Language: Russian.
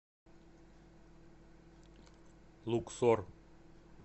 луксор